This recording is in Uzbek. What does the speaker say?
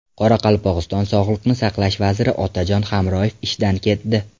Qoraqalpog‘iston sog‘liqni saqlash vaziri Otajon Hamroyev ishdan ketdi.